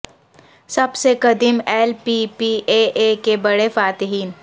سب سے قدیم L P P A A کے بڑے فاتحین